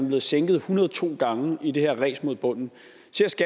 blevet sænket en hundrede og to gange i det her ræs mod bunden